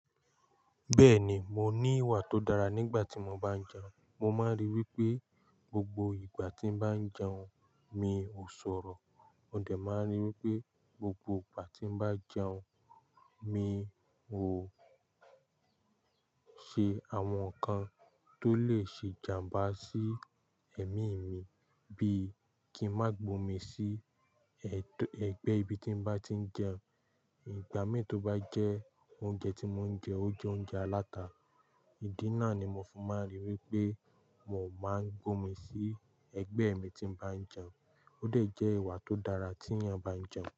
Bẹ́ẹ̀ ni, mo ní ìwà tó dára nígbà tí mo bá ń jẹun. Mo máa ń rí i wí pé gbogbo ìgbà tí bá ń jẹun, mi ò sọ̀rọ̀. Mo de máa ń rí i wí pé gbogbo ìgbà tí n bá ń jẹun, mi ò ṣe àwọn nǹkan tó lè ṣe ìjàmbá sí ẹ̀mí mi bíi kí n má gbomi sí ẹ̀t-- ẹgbẹ́ ibi tí mo bá ti ń jẹun. Ìgbà mí tó bá jẹ oúnjẹ tí mò ń jẹ, ó jẹ oúnjẹ aláta. Ìdí náà ni mo fi máa ń rí i wí pé mò máa ń gbomi sí ẹgbẹ́ mi tí mo bá ń jẹun. Ó de jẹ́ ìwà tó dára tí èèyàn bá ń jẹun.